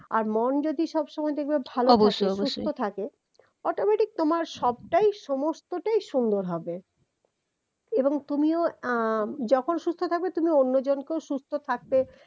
আর মন যদি সবসময় দেখবে সুস্থ থাকে automatic তোমার সবটাই সমস্তটাই সুন্দর হবে এবং তুমিও আহ যখন সুস্থ থাকবে তুমি অন্যজনকেও সুস্থ থাকতে